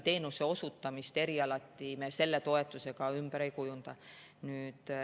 Teenuse osutamist erialati me selle toetusega ümber ei kujunda.